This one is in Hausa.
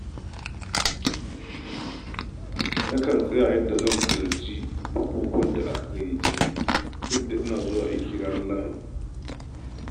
Nakan tsara yadda zan halarci bukukuwan da aka gayyace ni duk da ina zuwa aiki ranar Lahadi.